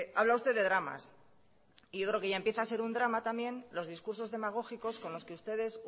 habla usted de dramas y yo creo que ya empieza a ser un drama también los discursos demagógicos con los que ustedes